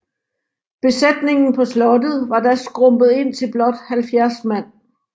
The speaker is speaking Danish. Besætningen på slottet var da skrumpet ind til blot 70 mand